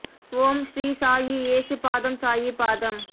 ஓம் ஸ்ரீ சாயி ஏசு பாதம் சாயி பாதம்